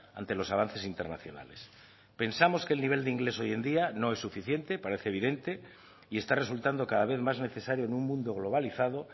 ante los avances internacionales pensamos que el nivel de inglés hoy en día no es suficiente parece evidente y está resultando cada vez más necesario en un mundo globalizado